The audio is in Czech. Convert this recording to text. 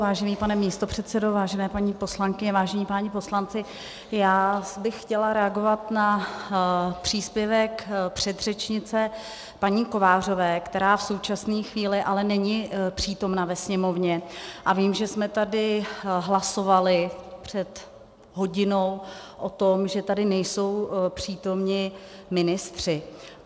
Vážený pane místopředsedo, vážené paní poslankyně, vážení páni poslanci, já bych chtěla reagovat na příspěvek předřečnice paní Kovářové, která v současné chvíli ale není přítomna ve Sněmovně, a vím, že jsme tady hlasovali před hodinou o tom, že tady nejsou přítomni ministři.